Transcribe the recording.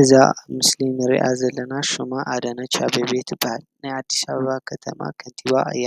እዛ ምስሊም ንርያኣ ዘለና ሹማ ኣዳንች ኣቤቤ ትባል ናይ ኣዲስኣበባ ኸተማ ኸንቲባ እያ